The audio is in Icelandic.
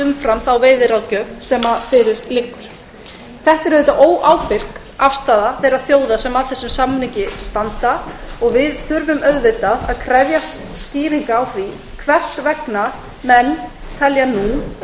umfram þá veiðiráðgjöf sem fyrir liggur þetta er óábyrg afstaða þeirra þjóða sem að þessum samningi standa og við þurfum að krefjast skýringa á því hvers vegna menn telja nú